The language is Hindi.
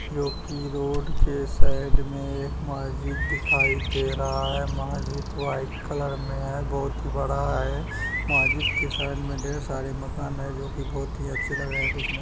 जो की रोड के साइड में एक मस्जिद दिखाई दे रहा है मस्जिद वाईट कलर में है बहोत ही बड़ा है मस्जिद के साइड में ढेर सारे मकान हैं जो की बहोत ही अच्छे लगते हैं देखने --